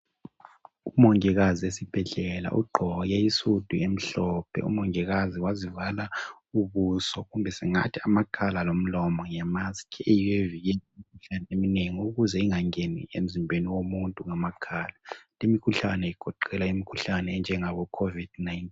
Umongikazi esibhedlela ugqoke isudu emhlophe .Umongikazi wazivala ubuso kumbe singathi amakhala lomlomo ngemaski eyiyo evikela imikhuhlane eminengi ukuze ingangeni emzimbeni womuntu ngamakhala limkhuhlane igoqela imkhuhlane enjengaboCovid 19.